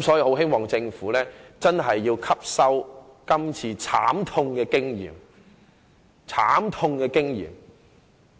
所以，我希望政府吸收今次的慘痛經驗，日後再有豐厚盈餘